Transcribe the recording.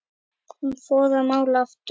Hún fór að mála aftur.